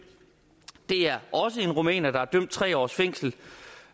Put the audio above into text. det er også en rumæner der er idømt tre års fængsel